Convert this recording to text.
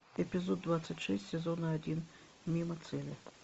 эпизод двадцать шесть сезона один мимо цели